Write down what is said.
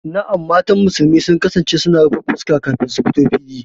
Na'am, mata musulmi sun kasance suna rufe fuska kafin su fito fili.